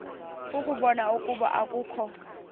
ukubona ukuba akukho